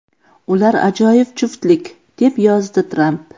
Ular ajoyib juftlik”, deb yozdi Tramp.